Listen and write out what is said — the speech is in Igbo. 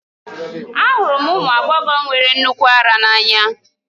Ahụrụ m ụmụ agbọghọ nwere nnukwu ara n'anya